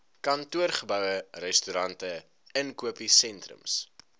kantoorgeboue restaurante inkopiesentrums